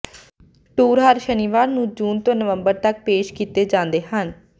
tour ਹਰ ਸ਼ਨੀਵਾਰ ਨੂੰ ਜੂਨ ਤੋਂ ਨਵੰਬਰ ਤਕ ਪੇਸ਼ ਕੀਤੇ ਜਾਂਦੇ ਹਨ